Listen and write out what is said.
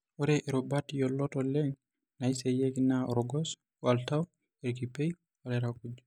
Ore irubat yiolot oleng naiseyieki naa orgos, oltau, irkipieu, olairakuj.